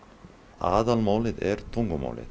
aðalmálið er tungumálið